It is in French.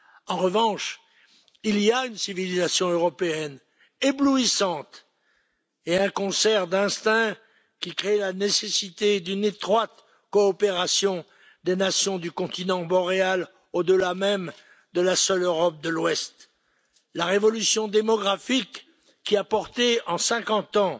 En revanche, il y a une civilisation européenne éblouissante et un concert d'instincts qui créent la nécessité d'une étroite coopération des nations du continent boréal, au delà même de la seule Europe de l'Ouest. La révolution démographique, qui a porté en 50 ans